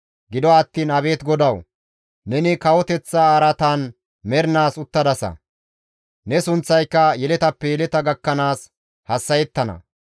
Gido attiin abeet GODAWU! Neni kawoteththa araatan mernaas uttadasa; ne sunththayka yeletappe yeleta gakkanaas hassa7ettana.